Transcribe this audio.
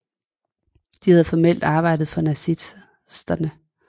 De havde formelt arbejdet for nazisterne